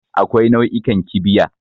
Akwai nau'ikan kibiya.